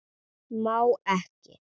Má ekki.